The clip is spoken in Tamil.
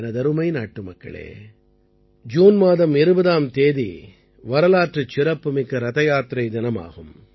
எனதருமை நாட்டுமக்களே ஜூன் மாதம் 20ஆம் தேதியன்று வரலாற்றுச் சிறப்புமிக்க ரதயாத்திரை தினமாகும்